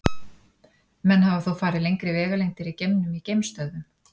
Menn hafa þó farið lengri vegalengdir í geimnum í geimstöðvum.